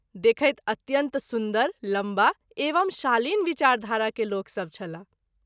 देखैत अत्यंत सुन्दर ,लम्बा एवं शालीन विचार धारा के लोक सभ छलाह।